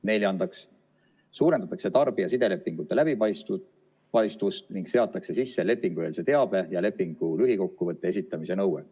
Neljandaks suurendatakse tarbija sidelepingute läbipaistvust ning seatakse sisse lepingueelse teabe ja lepingu lühikokkuvõtte esitamise nõue.